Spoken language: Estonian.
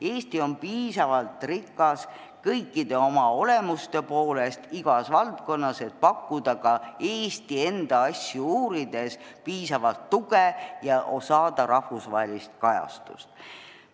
Eesti on kõikide oma olemuste poolest piisavalt rikas igas valdkonnas, et saada ka Eesti enda asjade uurimisel rahvusvahelist kajastust.